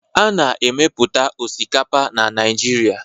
A na-emepụta osikapa na Naịjirịa